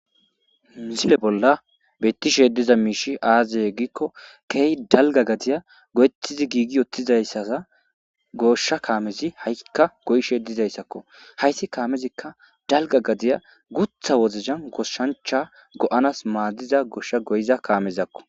Misile bolla bettishe diza miishi aazeye giikko keey dalga gadiya go'ettizi giigi yottizayssaza goshsha kaamezi ha'ikka goyishe dizayssakko hayssi kaamezikka dalga gadiya gutha wozzan goshshancha go'anas maaddiza gooshsha goyiza kaamezakko